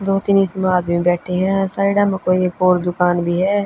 दो तीन इसमें आदमी बैठे हं साइडा म कोई एक और दुकान भी ह।